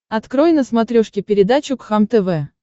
открой на смотрешке передачу кхлм тв